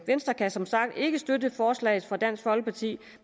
venstre kan som sagt ikke støtte forslaget fra dansk folkeparti